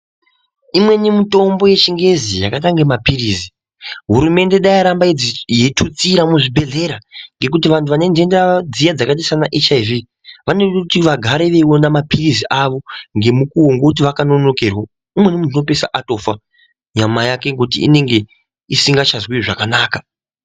Imweni mitombo yechingezi yakaita kunge maphirizi hurumende dai yaramba yeitutaira muzvibhodhlera ngekuti vantu vane ndenda dziya dzakaita sana HIV vanoda kuti vagare veiona maphirizi avo ngemukuwo ngokuti vakanonokerwa umweni muntu unopeisira atofa nyama ngekuti yake unonga isingachazwi zvakanaka.